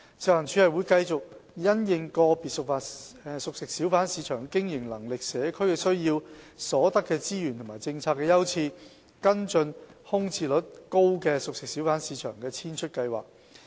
食環署會繼續因應個別熟食小販市場的經營能力、社區需要、所得資源和政策優次，跟進空置率高的熟食小販市場的遷出計劃。